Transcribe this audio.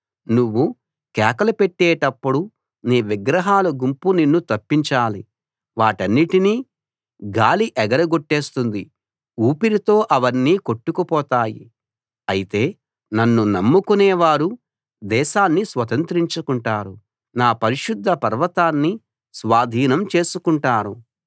నువ్వు కేకలు పెట్టేటప్పుడు నీ విగ్రహాల గుంపు నిన్ను తప్పించాలి వాటన్నిటినీ గాలి ఎగరగొట్టేస్తుంది ఊపిరితో అవన్నీ కొట్టుకుపోతాయి అయితే నన్ను నమ్ముకునేవారు దేశాన్ని స్వతంత్రించుకుంటారు నా పరిశుద్ధ పర్వతాన్ని స్వాధీనం చేసుకుంటారు